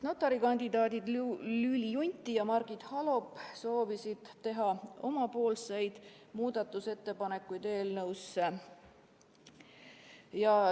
Notari kandidaadid Lüüli Junti ja Margit Halop soovisid esitada oma muudatusettepanekuid eelnõu kohta.